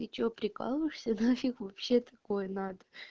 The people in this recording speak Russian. ты что прикалываешься да нафиг вообще такое й надо